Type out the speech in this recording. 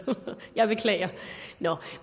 jeg beklager nå